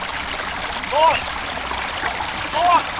ноль ноль